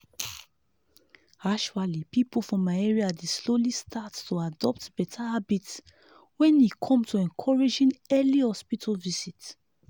actually people for my area dey slowly start to adopt better habits when e come to encouraging early hospital visit.